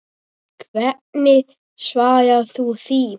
Hvernig svarar þú því?